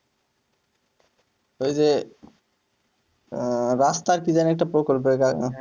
ওই যে রাস্তার কি যেন একটা প্রকল্প আছে?